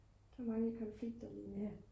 der er mange konflikter dernede